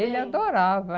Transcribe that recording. Ele adorava.